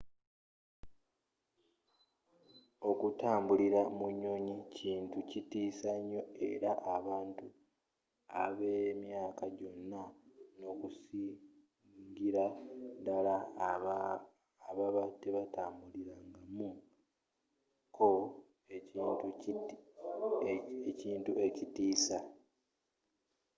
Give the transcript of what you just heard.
okutambulira mu nnyonyi kintu kitiisa nyoo eri abantu abemyaka jona n'okusingira dala singa baba tebagitambulirangamu ko ekintu ekitiisa